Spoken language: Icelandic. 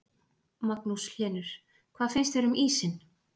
Magnús Hlynur: Hvað finnst þér um ísinn?